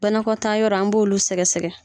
Banakɔtaa yɔrɔ an b'olu sɛgɛ sɛgɛ.